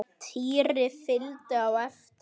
Týri fylgdi á eftir.